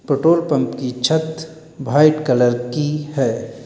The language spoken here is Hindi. पेट्रोल पंप की छत व्हाइट कलर की है।